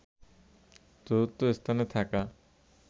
চতুর্থ স্থানে থাকা